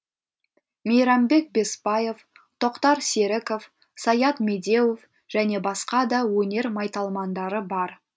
мейрамбек бесбаев тоқтар серіков саят медеуов және басқа да өнер майталмандары бар